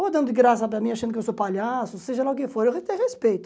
Ou dando graça para mim achando que eu sou palhaço, seja lá o que for, eu até respeito.